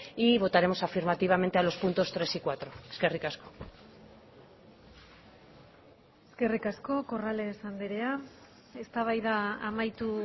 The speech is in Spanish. y votaremos afirmativamente a los puntos tres y cuatro eskerrik asko eskerrik asko corrales andrea eztabaida amaitu